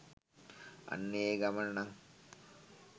අන්න ඒ ගමන නං